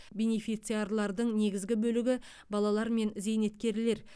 бенефициарлардың негізгі бөлігі балалар мен зейнеткерлер